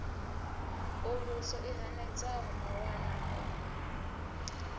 uluso i hanedzaho mawanwa o